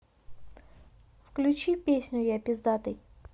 включи песню я пиздатый